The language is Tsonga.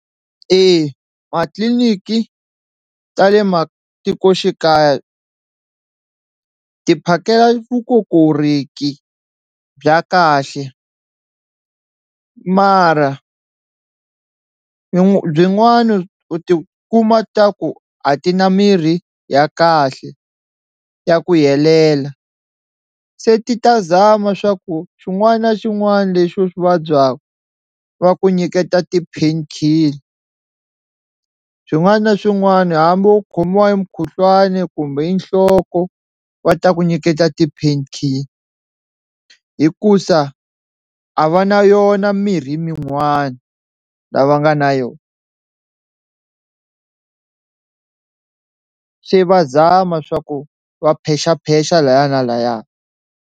Eya matliliniki ta le matikoxikaya ti phakela vukokorheki bya kahle mara a byi byinwani u ti kuma ta ku a ti na mirhi ya kahle ya ku helela se ti ta zama swa ku xin'wana na xin'wana lexi u swi vabyaku va ku nyiketa ti-painkiller, swin'wana na swin'wana hambi u khomiwa hi mukhuhlwani kumbe i nhloko va ta ku nyiketa ti-painkiller hikusa a va na yona mirhi minwana lava nga na yona se va zama swa ku va phexaphexa lhaya na lhaya.